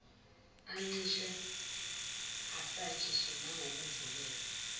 ancishwe asatshiswe nangokuvulelwa